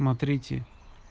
на третьи